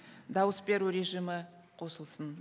дауыс беру режимі қосылсын